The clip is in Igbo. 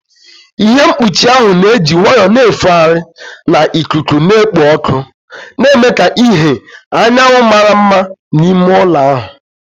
Ihe mkpuchi ahụ na-eji nwayọọ na-efegharị na ikuku na-ekpo ọkụ, na-eme ka ìhè anyanwụ mara mma n'ime ụlọ ahụ.